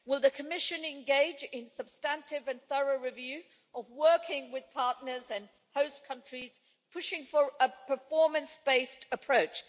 Will the Commission engage in a substantive and thorough review of working with partners and host countries, pushing for a performance based approach?